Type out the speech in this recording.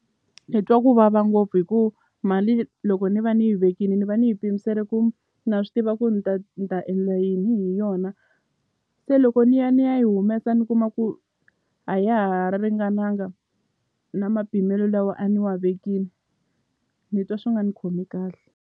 Ni twa ku vava ngopfu hi ku mali loko ni va ni yi vekini ni va ni yi pimisele ku na swi tiva ku ni ta ni ta endla yini hi yona se loko ni ya ni ya yi humesa ni kuma ku a ya ha ringananga na mapimelo lawa a ni wa vekini ni twa swi nga ni khomi kahle.